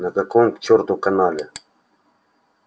на каком к черту канале